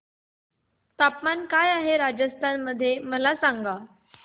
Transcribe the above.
तापमान काय आहे राजस्थान मध्ये मला सांगा